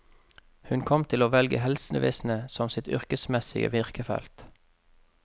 Hun kom til å velge helsevesenet som sitt yrkesmessige virkefelt.